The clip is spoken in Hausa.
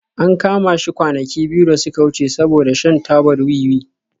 An kama shi kwanaki biyu da suka wuce saboda shan tabar wiwi